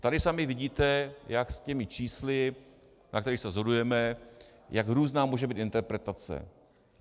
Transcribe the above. Tady sami vidíte, jak s těmi čísly, na kterých se shodujeme, jak různá může být interpretace.